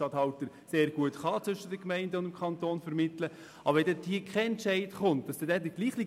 Zwischen den Gemeinden und dem Kanton zu vermitteln, ist auch das, was der Regierungsstatthalter sehr gut kann.